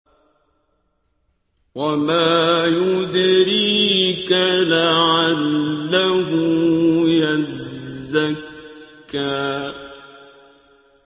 وَمَا يُدْرِيكَ لَعَلَّهُ يَزَّكَّىٰ